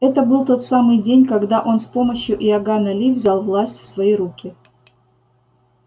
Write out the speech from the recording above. это был тот самый день когда он с помощью иоганна ли взял власть в свои руки